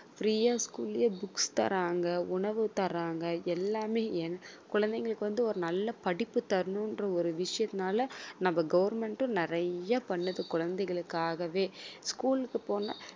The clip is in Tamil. free ஆ school லயே books தர்றாங்க உணவு தர்றாங்க எல்லாமே ஏன் குழந்தைங்களுக்கு வந்து ஒரு நல்ல படிப்பு தரணும்ன்ற ஒரு விஷயத்தினால நம்ம government உம் நிறைய பண்ணுது குழந்தைகளுக்காகவே school க்கு போனா